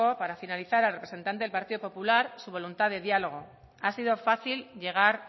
para finalizar al representante del partido popular su voluntad de diálogo ha sido fácil llegar